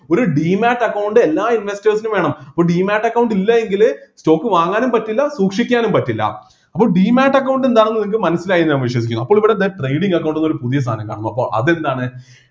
ഒരു demate account എല്ലാ investors നും വേണം ഒരു demate account ഇല്ലാ എങ്കില് stock വാങ്ങാനും പറ്റില്ല സൂക്ഷിക്കാനും പറ്റില്ല അപ്പൊ demate account എന്താണെന്ന് നിങ്ങൾക്ക് മനസ്സിലായി എന്നു ഞാൻ വിശ്വസിക്കുന്നു അപ്പോൾ ഇവിടെ എന്ത് trading account എന്നൊരു പുതിയ സാധനം കാണുന്നു അപ്പോ അതെന്താണ്